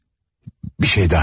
Bir şey daha.